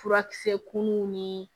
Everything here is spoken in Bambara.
Furakisɛ kunnu ni